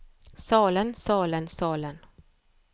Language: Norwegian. salen salen salen